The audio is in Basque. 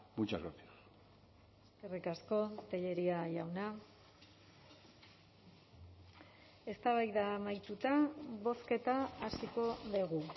muchas gracias eskerrik asko tellería jauna eztabaida amaituta bozketa hasiko dugu